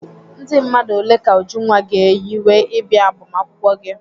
Ndị mmadụ ole ka Ujunwa ga-eyiwe ịbịa agbamakwụkwọ gị?